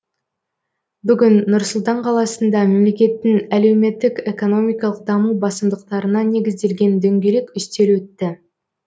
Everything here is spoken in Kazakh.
бүгін нұр сұлтан қаласында мемлекеттің әлеуметтік экономикалық даму басымдықтарына негізделген дөңгелек үстел өтті